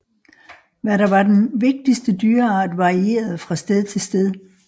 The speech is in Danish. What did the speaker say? Hvad der var den vigtigste dyreart varierede fra sted til sted